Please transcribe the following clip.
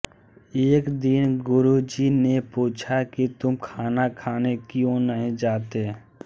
एक दिन गुरुजी ने पूछा कि तुम खाना खाने क्यों नहीं जाते